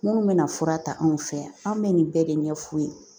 Minnu bɛna fura ta anw fɛ yan an bɛ nin bɛɛ de ɲɛf'u ye